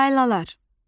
Laylalar.